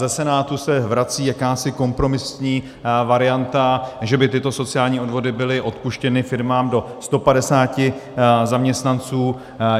Ze Senátu se vrací jakási kompromisní varianta, že by tyto sociální odvody byly odpuštěny firmám do 150 zaměstnanců.